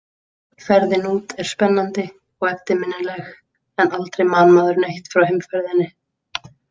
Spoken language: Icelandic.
Ferðin út er spennandi og eftirminnileg en aldrei man maður neitt frá heimferðinni.